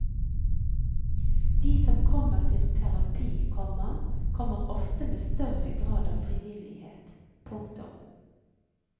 De som kommer til terapi, komma kommer ofte med større grad av frivillighet. punktum